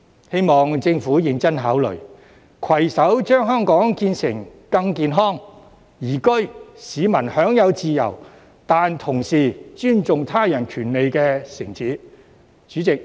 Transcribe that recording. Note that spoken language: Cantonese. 希望政府認真考慮，攜手將香港建設成更健康、宜居、市民享有自由但同時尊重他人權利的城市。